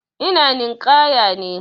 Ina ninƙaya ne.